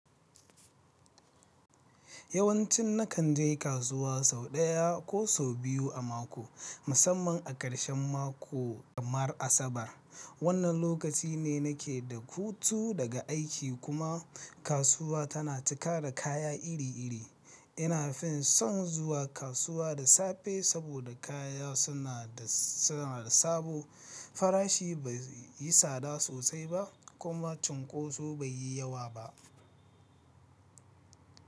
Yawancin nakan je kasuwa sau ɗaya ko sau biyu a mako, musamman a ƙarshen mako kamar Asabar. Wannan lokaci ne nake da hutu daga aiki kuma kasuwa tana cika da kaya iri-iri. Ina fin son zuwa kasuwa da safe saboda kaya suna da, suna da sabo, farashi bai yi tsada sosai ba kuma cunkoso bai yi yawa ba.